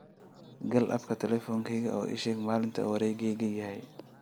gal app talooyinkayga oo ii sheeg maalinta wareeggaygu yahay